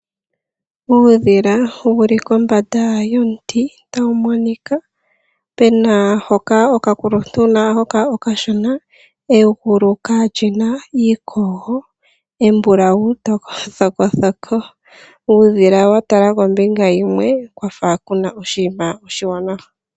Uudhila wuli kombanda yomuti, ta wu monika pena hoka okakuluntu na hoka okashona, egulu ka lyina iikogo, embulawu thoko thoko. Uudhila wa tala kombinga yimwe kwafa kuna oshinima oshiwanawa.